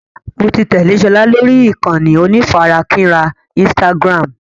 Mo ti tẹ́lé sọlá lórí ìkànnì onífarakínra Instagram.